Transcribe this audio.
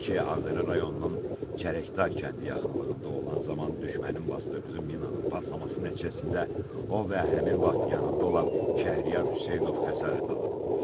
Ağdərə rayonunun Çərəkdar kəndi yaxınlığında olan zaman düşmənin basdırdığı minanın partlaması nəticəsində o və həmin vaxt yanında olan Şəhriyar Hüseynov xəsarət alıb.